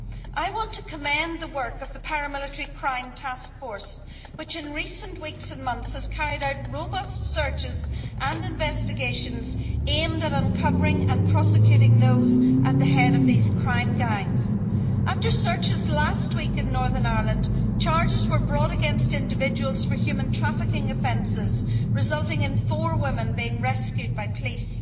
I want to commend the work of the paramilitary crime task force, which in recent weeks and months has carried out robust searches and investigations aimed at uncovering and prosecuting those at the head of these criminal gangs. After searches last week in Northern Ireland, charges were brought against individuals for human trafficking offenses, resulting in four women being rescued by police.